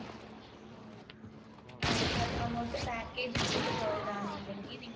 ആഹ് അങ്ങോട്ട് പാക്കേജ് എടുത്തിട്ട് പോയത് ആണോ അല്ലെങ്കിൽ നിങ്ങൾ